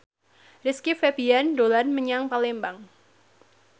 Rizky Febian dolan menyang Palembang